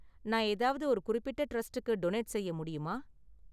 நான் ஏதாவது ஒரு குறிப்பிட்ட டிரஸ்டுக்கு டொனேட் செய்ய முடியுமா?